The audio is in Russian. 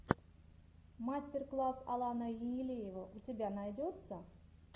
мастер класс алана енилеева у тебя найдется